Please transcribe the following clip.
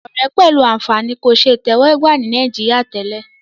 òré pẹlú ànfàní kò rí àtẹwò gbà ní Nàìjíríà tèlé